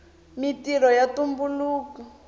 mintrho ya tumbuluka